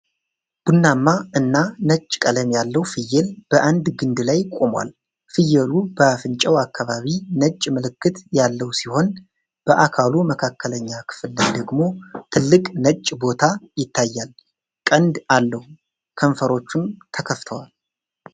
ቡናማ እና ነጭ ቀለም ያለው ፍየል በአንድ ግንድ ላይ ቆሟል። ፍየሉ በአፍንጫው አካባቢ ነጭ ምልክት ያለው ሲሆን፣ በአካሉ መካከለኛ ክፍል ላይ ደግሞ ትልቅ ነጭ ቦታ ይታያል። ቀንድ አለው፤ ከንፈሮቹም ተከፍተዋል። ፤